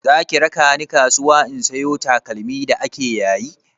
Zaki raka ni kasuwa in sayo takalmi da ake yayi?